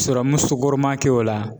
Serɔmu sokɔrɔman kɛ o la